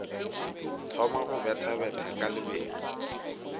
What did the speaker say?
thoma go bethabetha ka lebelo